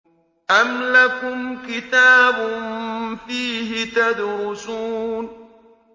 أَمْ لَكُمْ كِتَابٌ فِيهِ تَدْرُسُونَ